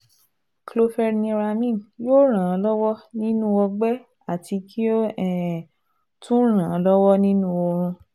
Chlorpheniramine yóò ràn án lọ́wọ́ nínú ọgbẹ́ àti kí ó um tún ràn án lọ́wọ́ nínú oorun